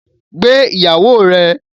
Gbé ìyàwó rẹ!